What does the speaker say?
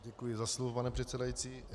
Děkuji za slovo, pane předsedající.